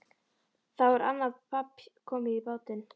Þá er annað babb komið í bátinn.